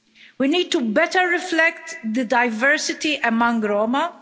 We need to better reflect the diversity among Roma